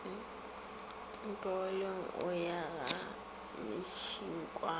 ntlogeleng o ya ga mešunkwane